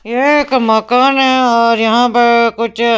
यह एक मकान है और यहाँ पे कुछ --